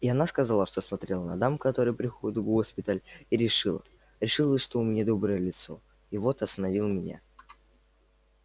и она сказала что смотрела на дам которые приходят в госпиталь и решила решила что у меня доброе лицо и вот остановила меня